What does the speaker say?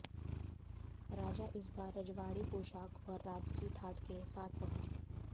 राजा इस बार रजवाड़ी पोशाख और राजसी ठाठ के साथ पहुंचे